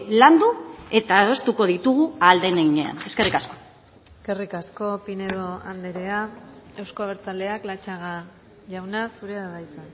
landu eta adostuko ditugu ahal den heinean eskerrik asko eskerrik asko pinedo andrea euzko abertzaleak latxaga jauna zurea da hitza